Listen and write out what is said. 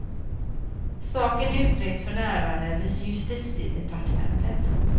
Saken utreds för närvarande vid justitiedepartementet.